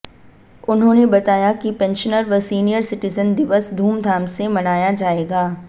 उन्होंने बताया कि पेंशनर व सीनियर सिटीजन दिवस धूमधाम से मनाया जाएगा